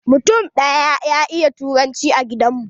Mutum ɗaya ya iya turanci a gidan mu.